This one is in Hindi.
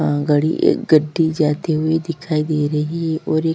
अ गाड़ी ए गड्डी जाती हुई दिखाई दे रही और एक --